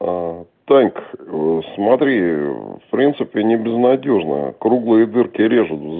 аа танька аа смотри аа в принципе не безнадёжная круглые дырки режут вз